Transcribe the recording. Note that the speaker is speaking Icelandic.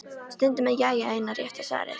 Stundum er jæja eina rétta svarið.